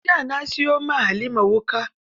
Jiya na siyo wa Halima wuƙa